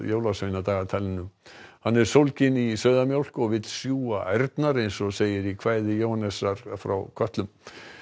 jólasveinadagatalinu hann er sólginn í sauðamjólk og vill sjúga ærnar eins og segir í kvæði Jóhannesar frá kötlum